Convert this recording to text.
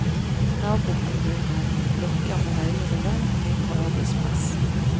Nabokommunene lokker med høyere lønn og mindre arbeidspress.